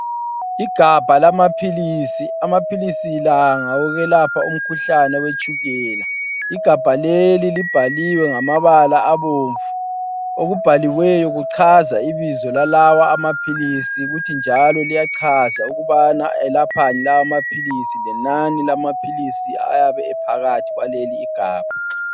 Igabha lamaphilisi, amaphilisi lawa ngawokwelapha umkhuhlane we tshukela. Igabha leli libhaliwe ngamabala abomvu okubhaliweyo kuchaza ibizo lalawa amaphilisi kuthi njalo liyachaza ukubana elaphani lawa maphilisi lenani lamaphilisi ayabe ephakathi kwaleli igabha.